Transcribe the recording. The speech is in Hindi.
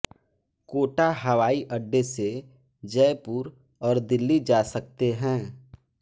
कोटा हवाई अड्डे से जयपुर और दिल्ली जा सकते हैं